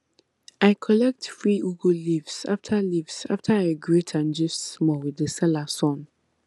i collect free ugu leaves after leaves after i greet and gist small with the seller son